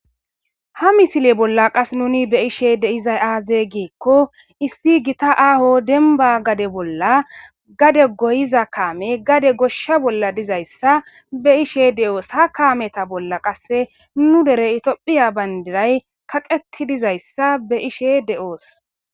Ha misile bolla qas nuuni be'she de'izay aaze giikko issi gita aaho dembba gade bolla gade goyiza kaame gade gossha bolla dizayssa be'ishe de'oos. ha kaameta bolla qasse nu dere tophphiya bandiray kaqetti dizayssa be'she de'oos.